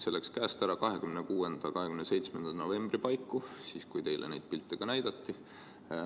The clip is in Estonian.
See läks käest ära 26. või 27. novembri paiku, siis kui teile neid pilte ka näidati.